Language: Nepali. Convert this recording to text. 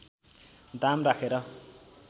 दाम राखेर